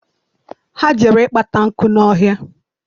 Ha jere kpata nkụ n'ọhịa.